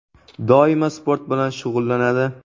Doimo sport bilan shug‘ullanadi.